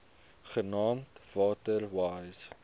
genaamd water wise